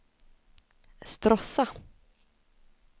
Stråssa